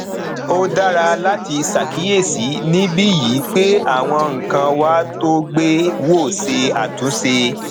ó dára láti ṣàkíyèsí níbí yìí pé àwọn nǹkan wà tó gbé wò ṣe àtúnṣe